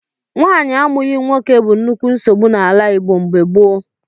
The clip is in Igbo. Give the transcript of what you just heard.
Nwaanyị amụghị nwoke bụ nnukwu nsogbu n'ala Igbo mgbe gboo.